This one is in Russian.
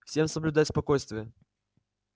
всем соблюдать спокойствие